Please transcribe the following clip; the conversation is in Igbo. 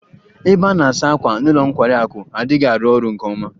Ebe a na-asa ákwà n'ụlọ nkwari akụ adịghị arụ ọrụ nke ọma.